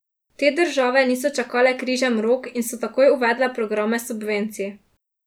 Te države niso čakale križem rok in so takoj uvedle programe subvencij.